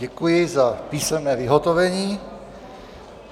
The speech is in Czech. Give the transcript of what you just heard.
Děkuji za písemné vyhotovení.